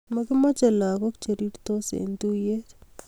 Makimache lakok cherir tos en tuyet